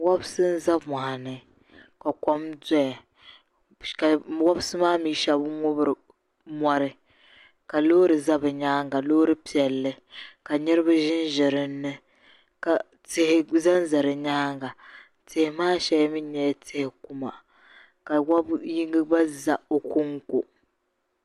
Wobiri n-za mɔɣuni ka kom dɔya ka wobiri maa mi shɛba ŋubiri mɔri ka loori za bɛ nyaaŋga loori piɛlli ka niriba ʒinʒi dinni ka tihi zanza di nyaaŋga. Tihi maa shɛli mi nyɛla ti' kuma.